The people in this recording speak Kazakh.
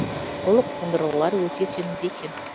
бұл қондырғылар өте сенімді екен